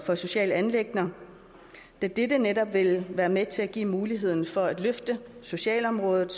for sociale anliggender da dette netop vil være med til at give muligheden for at løfte socialområdet